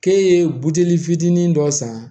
K'e ye buteli fitinin dɔ san